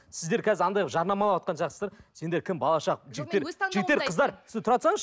сіздер қазір анадай қылып жарнамалап сендер кім балаша жігіттер жігіттер қыздар сіз тұра тұрсаңызшы